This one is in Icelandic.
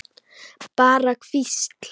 Bara hvísl.